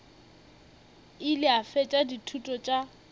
ile a fetša dithuto tša